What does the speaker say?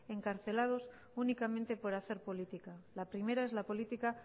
encarcelados únicamente por hacer política la primera es la política